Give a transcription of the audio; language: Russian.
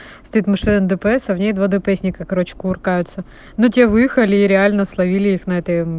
стоит машина дпс а в ней два дпс-ника короче кувыркаются ну тебе выехали и реально словили их на этой мм